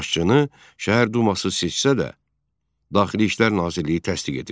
Başçını Şəhər Duması seçsə də, Daxili İşlər Nazirliyi təsdiq edirdi.